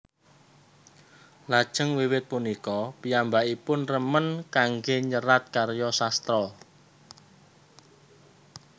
Lajeng wiwit punika piyambakipun remen kanggé nyerat karya sastra